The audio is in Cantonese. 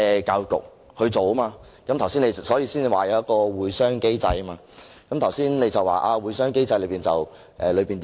局長剛才提到有一個"會商機制"，又說不能公開"會商機制"的會議內容。